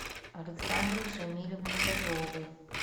александры шамилевны козловой